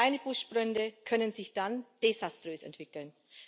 Auch kleine Buschbrände können sich dann desaströs entwickeln.